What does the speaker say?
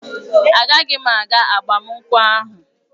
Agaghị m aga agbamakwụkwọ ahụ.